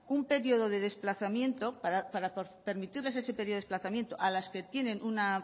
para permitirles ese periodo de desplazamiento a las que tienen una